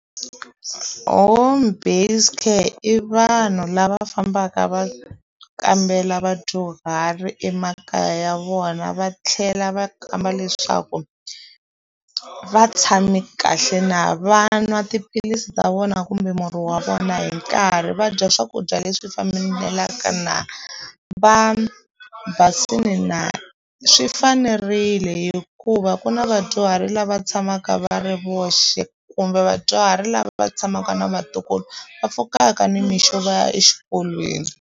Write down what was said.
Home based care i vanhu lava fambaka va kambela vadyuhari emakaya ya vona va tlhela va kamba leswaku va tshame kahle na va nwa tiphilisi ta vona kumbe murhi wa vona hi nkarhi va dya swakudya leswi fambelaka na va basile na swi fanerile hikuva ku na vadyuhari lava tshamaka va ri voxe kumbe vadyuhari lava va tshamaka na vatukulu va pfukaka nimixo va ya exikolweni.